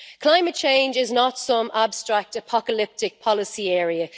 Climate change is not some abstract, apocalyptic policy area.